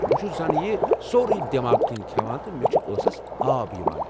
بہٕ چھُس زَن یہِ سورُے دیماغ كِنۍ كھیوان تہٕ مے٘ چھُ ٲسس آب یوان ۔